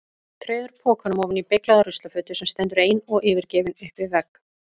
Treður pokanum ofan í beyglaða ruslafötu sem stendur ein og yfirgefin upp við vegg.